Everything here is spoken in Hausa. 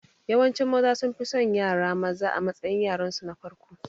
Yawancin Maza sunfi son yara maza a matsayin yaransu na farko